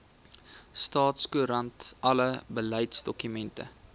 staatskoerant alle beleidsdokumente